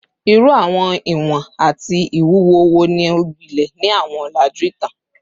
Iru awọn iwọn ati iwuwo wo ni o gbilẹ ni awọn ọlaju itan?